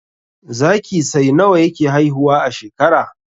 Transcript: Zaki sai nawa yake haihuwa a shekara